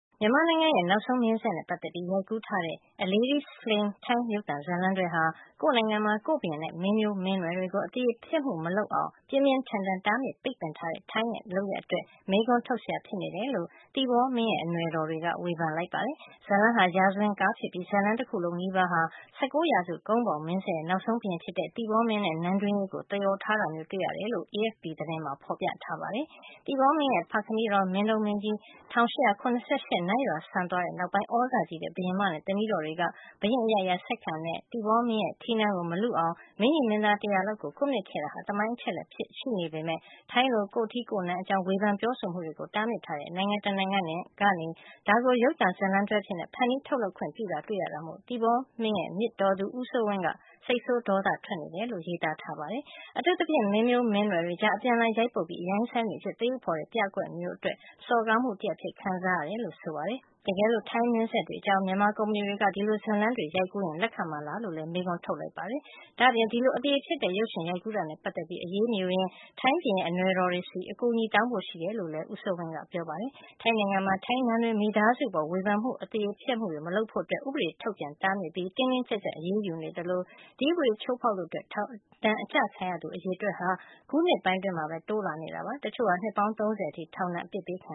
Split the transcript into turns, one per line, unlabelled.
မြန်မာနိုင်ငံရဲ့ နောက်ဆုံး မင်းဆက်နဲ့ ပတ်သက်ပြီး ရိုက်ကူးထားတဲ့ A Lady’s Flame ထိုင်းရုပ်သံ ဇာတ်လမ်းတွဲဟာ ကိုယ့်နိုင်ငံမှာ ကိုယ့်ဘုရင်နဲ့ မင်းမျိုးမင်းနွယ်တွေကို အသရေဖျက်မှုမလုပ်အောင် ပြင်းပြင်းထန်ထန် တားမြစ်ပိတ်ပင်ထားတဲ့ ထိုင်းနိုင်ငံရဲ့ လုပ်ရပ်အတွက် မေးခွန်းထုတ်စရာ ဖြစ်နေတယ်လို့ သီပေါမင်းရဲ့ အနွယ်တော်တွေက ဝေဖန်လိုက်ပါတယ်။ ဇာတ်လမ်းဟာ ရာဇဝင်ကား ဖြစ်ပြီး ဇာတ်လမ်း တခုလုံးနီးပါးဟာ ၁၉ ရာစု ကုန်းဘောင်မင်းဆက်ရဲ့ နောက်ဆုံးဘုရင်ဖြစ်တဲ့ သီပေါမင်းနဲ့ နန်းတွင်းရေးကို သရော်ထားတာမျိုး တွေ့ရတယ်လို့ AFP သတင်းမှာဖေါ်ပြထားပါတယ်။ သီပေါမင်းရဲ့ ဖခမည်းတော် မင်းတုန်းမင်းကြီး ၁၈၇၈ ခုနှစ် နတ်ရွာစံသွားတဲ့ နောက်ပိုင်း သြဇာကြီးတဲ့ ဘုရင်မနဲ့ သမီးတော်တွေက ဘုရင့် အရိုက်အရာဆက်ခံတဲ့ သီပေါမင်းရဲ့ ထီးနန်းကို မလုအောင် မင်းညီမင်းသား တရာလောက်ကို ကွပ်မျက်ခဲ့တာဟာ သမိုင်းအချက်လက်အဖြစ် ရှိနေပေမယ့် ထိုင်းလို ကိုယ့်ထီးကိုယ့်နန်း အကြောင်း ဝေဖန်ပြောဆိုမှုတွေကို တားမြစ်ထားတဲ့ နိုင်ငံတနိုင်ငံကနေ ဒါကို ရုပ်ရှင်ဇာတ်လမ်း တွဲအဖြစ် ဖန်တီးထုတ်လုပ်ခွင့် ပြုတာတွေ့ရတာမို့ သီပေါမင်းရဲ့ မြစ်တော်သူ ဦးစိုးဝင်းက စိတ်ဆိုးဒေါသထွက်နေတယ်လို့ ရေးသားထား ပါတယ်။ အထူးသဖြင့် မင်းမျိုးမင်းနွယ်တွေကြား အပြန်အလှန် ရိုက်ပုတ်ပြီး အရိုင်းအစိုင်းတွေအဖြစ် သရုပ်ဖေါ်တဲ့ ပြကွက်မျိုးအတွက် စော်ကားမှု တရပ် အဖြစ်ခံစားရတယ်လို့ ဆိုပါတယ်။ တကယ်လို့ ထိုင်းမင်းဆက်တွေ အကြောင်း မြန်မာကုမ္ပဏီတွေက ဒီလိုဇာတ်လမ်းတွေ ရိုက်ကူးရင် လက်ခံမှာလားလို့ မေးခွန်းထုတ်လိုက်ပါတယ်။ ဒါ့အပြင် ဒီလို အသရေဖျက်တဲ့ ရုပ်ရှင်ရိုက်ကူးတာနဲ့ ပတ်သက်ပြီး အရေးမယူရင် ထိုင်းဘုရင်ရဲ့ အနွယ်တော်တွေဆီ အကူအညီတောင်းဖို့ ရှိတယ်လို့လည်း ဦးစိုးဝင်းက ပြောပါတယ်။ ထိုင်းနိုင်ငံမှာ ထိုင်းနန်းတွင်း မိသားစုအပေါ် ဝေဖန်မှုတွေ အသရေဖျက်မှုတွေ မလုပ်ဖို့ ဥပဒေထုတ်ပြန် တားမြစ်ပြီး တင်းတင်းကြပ်ကြပ် အရေးယူနေသလို၊ ဒီဥပဒေချိုးဖေါက်လို့ ထောင်ဒဏ်ချခံရသူ အရေအတွက်ဟာ အခုနှစ်ပိုင်းအတွင်းမှာပဲ တိုးလာနေတာပါ။ တချို့ဟာ နှစ်ပေါင်း ၃၀ အထိ ထောင်ဒဏ် အပစ်ပေး ခံ